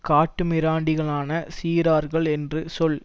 காட்டு மிராண்டிகளான சிறார்கள் என்று சொல்